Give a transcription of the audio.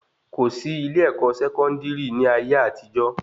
Kòsí ilé-ẹ̀kọ́ Sẹkọndiri ni ayé àtijó